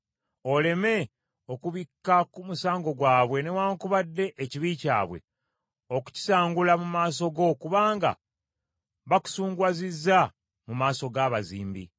Oleme okubikka ku musango gwabwe newaakubadde ekibi kyabwe okukisangula mu maaso go kubanga bakusunguwazizza mu maaso g’abazimbi.”